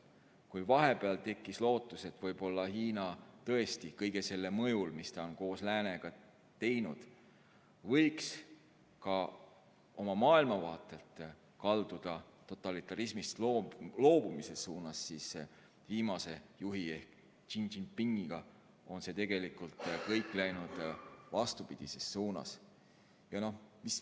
Kui vahepeal tekkis lootus, et võib‑olla Hiina tõesti kõige selle mõjul, mis ta on koos läänega teinud, võiks ka oma maailmavaatelt kalduda totalitarismist loobumise poole, siis viimase juhi Xi Jinpingi ajal on kõik läinud tegelikult vastupidises suunas.